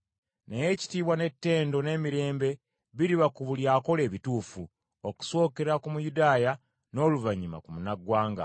Naye ekitiibwa n’ettendo n’emirembe biriba ku buli akola ebituufu, okusookera ku Muyudaaya n’oluvannyuma ku Munnaggwanga.